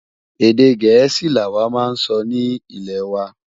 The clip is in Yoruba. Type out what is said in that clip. Èdè gèésì là wà má n sọ ní ilẹ wà